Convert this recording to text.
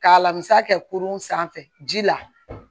K'a lamisa kɛ kurun sanfɛ ji la